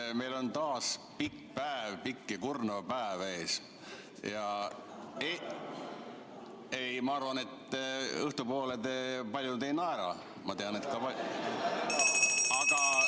Kuna meil on taas ees pikk ja kurnav päev ja ma arvan, et õhtu poole paljud teist enam ei naera, ma tean, siis ......